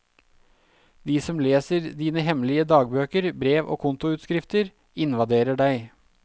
De som leser dine hemmelige dagbøker, brev og kontoutskrifter, invaderer deg.